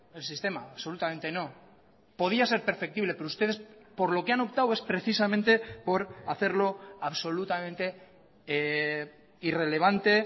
el sistema absolutamente no podía ser perfectible pero ustedes por lo que han optado es precisamente por hacerlo absolutamente irrelevante